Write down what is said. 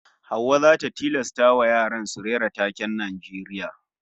Hauwa zata tilastawa yaran su rera taken Najeriya